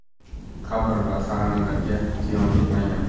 Qabr va sag‘analarga ziyon yetmagan.